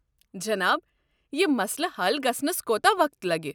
جناب، یہِ مسلہٕ حل گژھنس کوتاہ وقت لگہِ ؟